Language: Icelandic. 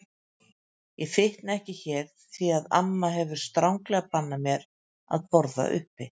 Ég fitna ekki hér því að amma hefur stranglega bannað mér að borða uppi.